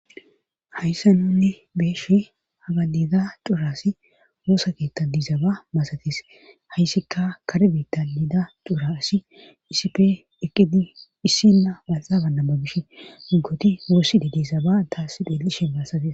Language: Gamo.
Hayssa nunni beeshi hagaliza curas woosa keettadiizaba masatis hayssikka karbitalida curasi isipe eqqidi issinna bazaabannama gish ggoti woosside diisaba taasi dheelishen baasatis.